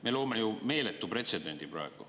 Me loome ju meeletu pretsedendi praegu.